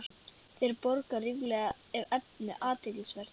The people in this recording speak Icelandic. Þeir borga ríflega, ef efnið er athyglisvert